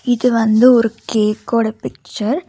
இது வந்து ஒரு கேக்கோட பிச்சர் .